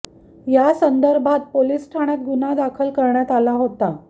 या संदर्भात पोलीस ठाण्यात गुन्हा दाखल करण्यात आला होता